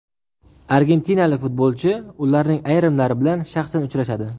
Argentinalik futbolchi ularning ayrimlari bilan shaxsan uchrashadi.